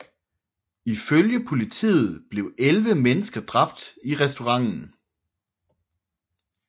I følge politiet blev elleve mennesker dræbt i restauranten